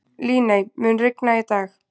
Líney, mun rigna í dag?